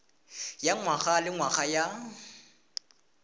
ya ngwaga le ngwaga ya